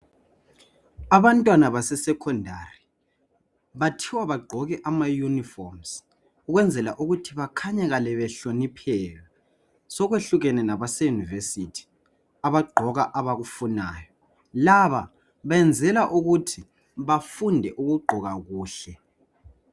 Abantwana baseSekhondari bathiwa bagqoke amayunifomu ukwenzela ukuthi bakhanyakale behlonipheka, sokwehlukene labase Yunivesi abagqoka abakufunayo. Laba benzela ukuthi bafunde ukugqoka kuhle .